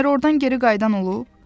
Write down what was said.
Məyər ordan geri qayıdan olub?